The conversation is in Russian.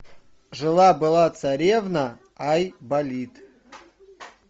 жила была царевна айболит